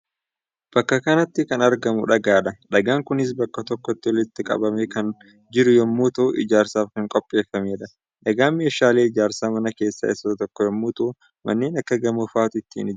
Bakka kanatti kan argamu dhagaadha. Dhagaan kunis bakka tokkotti walitti qabamee kan jiruu yommuu ta'u ijaarsaaf kan qopheeffamedha. Dhagaan meeshaalee ijaarsa manaa keessaa isa tokkoo yommuu ta'u manneen akka gamoo faatu ittiin ijaarama.